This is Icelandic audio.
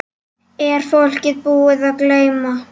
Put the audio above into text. Er fólk búið að gleyma?